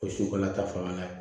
O su fana ta fanga na